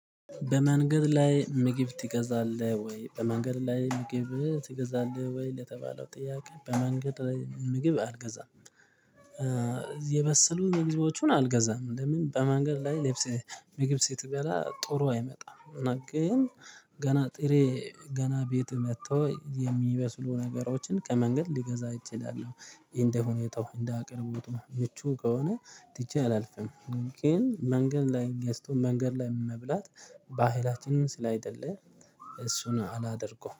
በመንገድ ላይ ምግብ ትገዛለህ ወይ? በመንገድ ላይ ምግብ ትገዛለህ ወይ ለተባለው ጥያቄ በመንገድ ላይ ምግብ አልገዛም። የበሰሉ ምግቦቹን አልገዛም ለምን በመንገድ ላይ ልብስ ምግብ ስትበላ ጥሩ አይመጣም፣ እና ግን ገና ጥሬ ገና ቤት መጥቶ የሚበስሉ ነገሮችን ከመንገድ ሊገዛ እችላለሁ እንደ ሁኔታው እንደ አቅርቦቱ ምቹ ከሆነ ትቼ አላልፍም ግን መንገድ ላይ ገዝቶ መንገድ ላይ መብላት ባህላችንን ስላይደለ እሱን አላደርገውም።